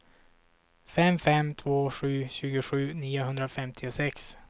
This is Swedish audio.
fem fem två sju tjugosju niohundrafemtiosex